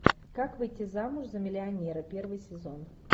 как выйти замуж за миллионера первый сезон